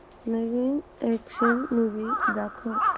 नवीन action movie दाखव